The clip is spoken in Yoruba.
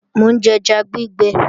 Mò ń jẹja gbígbẹ